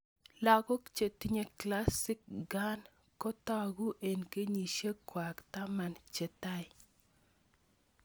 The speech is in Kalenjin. Lakok che tinye Classic Pkan ko tag'u eng' kenyishek kwai taman che tai